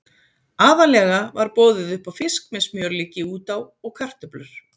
Aðallega var boðið upp á fisk með smjörlíki út á og kartöflur.